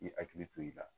I hakili to i la